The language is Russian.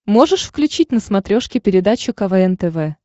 можешь включить на смотрешке передачу квн тв